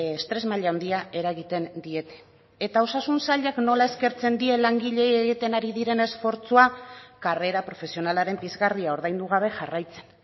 estres maila handia eragiten diete eta osasun sailak nola eskertzen die langileei egiten ari diren esfortzua karrera profesionalaren pizgarria ordaindu gabe jarraitzen